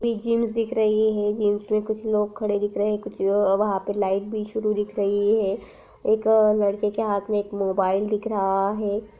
ये जिमस दिख रही है जिमस में कुछ लोग खड़े दिख रहे है कुछ अ-वहाँ पर लाइट भी बिछी हुई दिख रही है एक लड़के के हाथ में एक मोबाईल दिख रहा है।